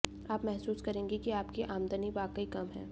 आप महसूस करेंगे कि आपकी आमदनी वाकई कम है